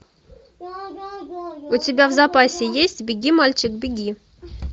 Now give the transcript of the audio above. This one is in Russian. у тебя в запасе есть беги мальчик беги